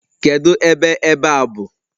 Kedu ebe ebe a bụ?